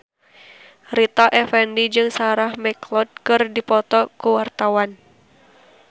Rita Effendy jeung Sarah McLeod keur dipoto ku wartawan